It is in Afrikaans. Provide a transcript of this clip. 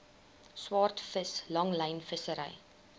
swaardvis langlyn vissery